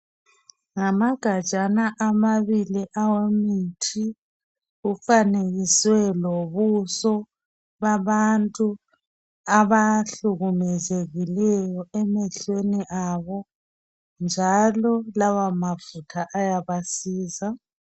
Ngamagajama amabili awemithi kufanekiswe lobuso babantu abahlukumezekileyo emehlweni abo njalo lawa mafutha ayabasiza.